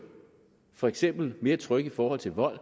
for eksempel mere trygge i forhold til vold